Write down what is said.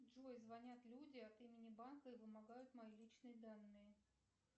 джой звонят люди от имени банка и вымогают мои личные данные